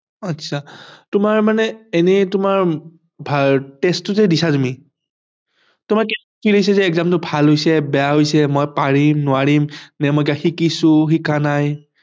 আচ্ছা তোমাৰ মানে এনেই তোমাৰ test টো যে দিছা তু মি তোমাৰ কি লাগিছে যে exam টো ভাল হৈছে বেয়া হৈছে মই পাৰিম নোৱাৰিম নে মই শিকিছো শিকা নাই